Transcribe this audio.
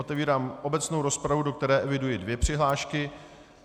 Otevírám obecnou rozpravu, do které eviduji dvě přihlášky.